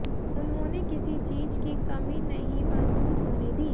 उन्होंने किसी चीज की कमी नहीं महसूस होने दी